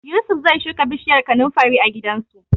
Yusuf zai shuka bishiyar kanunfari a gidansu.